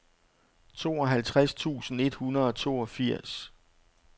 tooghalvtreds tusind et hundrede og toogfirs